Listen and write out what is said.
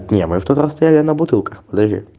не мы в тот раз стояли на бутылках подожди